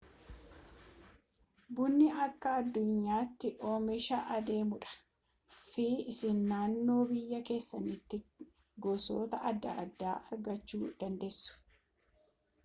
bunni akka aduunyaati oomisha adeemu dha fi isin naannoo biyyaa keessaniti gosoota adda addaa argachuu dandeessu